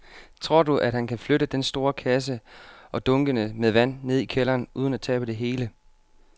Tror du, at han kan flytte den store kasse og dunkene med vand ned i kælderen uden at tabe det hele?